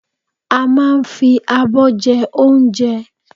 A máa n fi abọ́ jẹ óunje